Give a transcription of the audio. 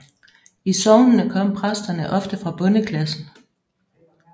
I sognene kom præsterne ofte fra bondeklassen